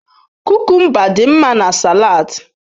Kukumba dị mma na salads.